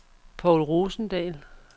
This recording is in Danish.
Povl Rosendahl